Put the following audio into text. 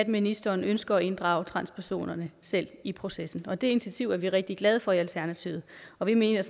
ministeren ønsker at inddrage transpersonerne selv i processen det initiativ er vi rigtig glade for i alternativet og vi mener